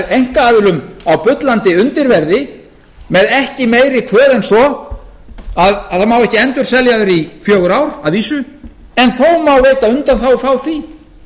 einkaaðilum á bullandi undirverði með ekki meiri kvöð en svo að það má ekki endurselja þær í fjögur ár að vísu en þó má veita undanþágu frá því